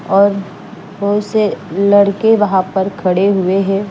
और बहोत से लड़के वहा पर खड़े हुए है।